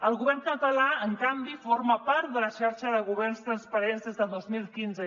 el govern català en canvi forma part de la xarxa de governs transparents des del dos mil quinze